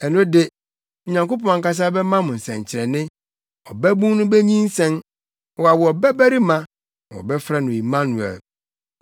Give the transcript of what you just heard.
Ɛno de, Onyankopɔn ankasa bɛma mo nsɛnkyerɛnne; ɔbabun no benyinsɛn, na wawo ɔbabarima, na wɔbɛfrɛ no Immanuel.